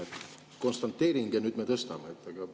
On konstateering, et nüüd me tõstame.